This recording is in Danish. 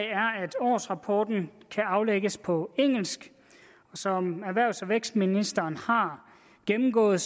årsrapporten kan aflægges på engelsk som erhvervs og vækstministeren har gennemgået